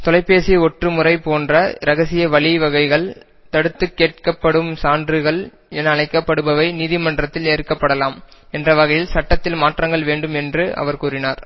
தொலைப்பேசி ஒற்று முறை போன்ற இரகசிய வழிவகைகள் தடுத்து கேட்கப்படும் சான்றுகள் என அழைக்கப்படுபவை நீதி மன்றத்தில் ஏற்கப்படலாம் என்ற வகையில் சட்டத்தில் மாற்றங்கள் வேண்டும் என்று அவர் கூறினார்